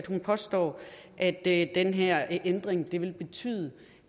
hun påstår at den her ændring vil betyde